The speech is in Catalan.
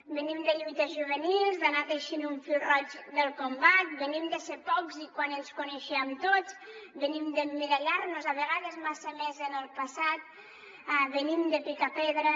venim de lluites juvenils d’anar teixint un fil roig del combat venim de ser pocs i quan ens coneixíem tots venim d’emmirallar nos a vegades massa més en el passat venim de picar pedra